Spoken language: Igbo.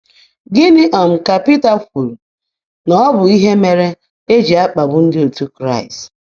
Gịnị um ka Pita kwuru na ọ bụ ihe mere e ji akpagbu ndị otu Kraịst?